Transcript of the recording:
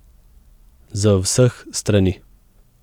Z vseh strani.